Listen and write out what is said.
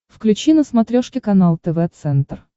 включи на смотрешке канал тв центр